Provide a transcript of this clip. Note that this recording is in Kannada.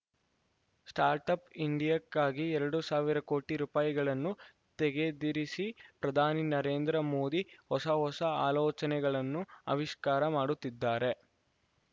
ಸ್ಟಾರ್ಟ್‌ ಅಪ್‌ ಇಂಡಿಯಾಕ್ಕಾಗಿ ಎರಡು ಸಾವಿರ ಕೋಟಿ ರೂಪಾಯಿಗಳನ್ನು ತೆಗೆದಿರಿಸಿ ಪ್ರಧಾನಿ ನರೇಂದ್ರ ಮೋದಿ ಹೊಸ ಹೊಸ ಆಲೋಚನೆಗಳನ್ನು ಆವಿಷ್ಕಾರ ಮಾಡುತ್ತಿದ್ದಾರೆ